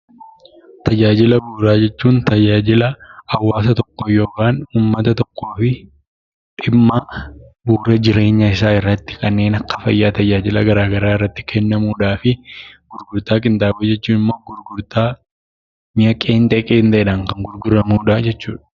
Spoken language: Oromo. Tajaajila bu'uuraa jechuun tajaalila uumataa tokko yookaan hawaasa tokkofii dhimma bu'uuraa jireenya isaa irratti kannen akka fayyaa tajaajilaa gara garaa irratti kennamudha fi gurgurtaa qinxaaboo jechuun immoo gurgurtaa mi'aa qenxee, qenxeedhan kan gurguramuudha jechuudha.